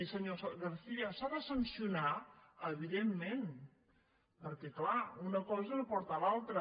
senyor garcía s’ha de sancionar evidentment perquè clar una cosa no porta a l’altra